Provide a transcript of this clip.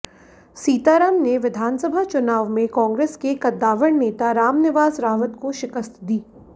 सीताराम ने विधानसभा चुनाव में कांग्रेस के कद्दावर नेता रामनिवास रावत को शिकस्त दी